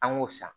An k'o san